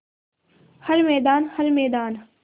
हर मैदान हर मैदान